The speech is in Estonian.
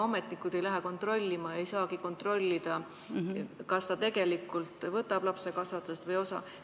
Ametnikud ju ei lähe kontrollima ega saagi kontrollida, kas ta tegelikult võtab lapse kasvatamisest osa.